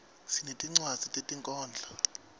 sinetinwadzi tetinkhondlo